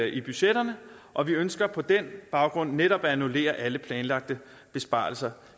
i budgetterne og vi ønsker på den baggrund netop at annullere alle planlagte besparelser